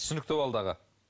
түсінікті болды аға